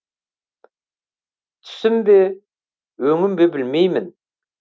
түсім бе өңім бе білмеймін